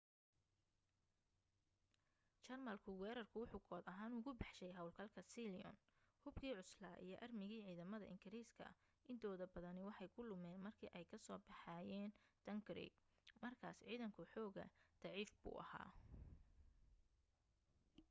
jarmalku weerarku wuxu kood ahaan ugu baxshay hawlgalka sealion". hubkii cuslaa iyo aarmigii ciidamada ingiriiska intooda badani waxay ku lumeen markii ay ka soo baxayeen dunkirk markaas ciidanku xoogaa daciif buu ahaa